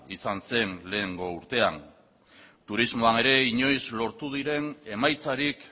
izan zen lehengo urtean turismoan ere inoiz lortu diren emaitzarik